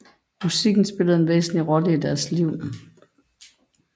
Musik spillede en væsentlig rolle i deres liv